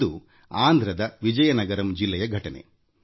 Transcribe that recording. ಇದು ಆಂಧ್ರ ಪ್ರದೇಶದ ವಿಜಯನಗರಂ ಜಿಲ್ಲೆಯಲ್ಲಿ ನಡೆದ ಘಟನೆ